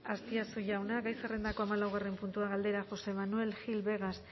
azpiazu jauna gai zerrendako hamalaugarren puntua galdera josé manuel gil vegas